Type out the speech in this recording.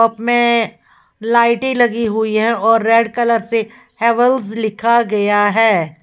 इसमें लाइटे लगी हुई है और रेड कलर से हैवेल्स लिखा गया है।